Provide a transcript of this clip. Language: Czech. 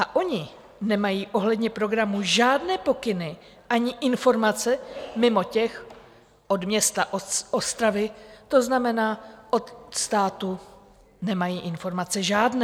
A oni nemají ohledně programu žádné pokyny ani informace mimo ty od města Ostravy, to znamená, od státu nemají informace žádné.